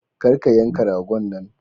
Kar ka yanka ragon nan.